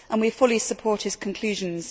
We fully support his conclusions.